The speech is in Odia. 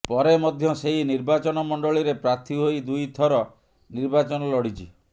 ପରେ ମଧ୍ୟ ସେହି ନିର୍ବାଚନମଣ୍ଡଳୀରେ ପ୍ରାର୍ଥୀ ହୋଇ ଦୁଇ ଥର ନିର୍ବାଚନ ଲଢ଼ିଛି